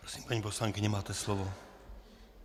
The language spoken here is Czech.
Prosím, paní poslankyně, máte slovo.